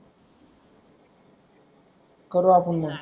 करु आपुन मग